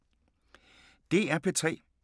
DR P3